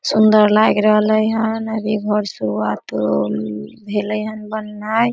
सुंदर लाग रहले हन अभी घर शुरुआतो भेले ये बनने।